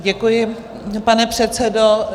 Děkuji, pane předsedo.